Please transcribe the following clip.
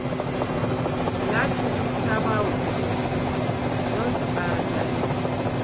Talatu ta ba wa Kande kuɗi don su ƙara jari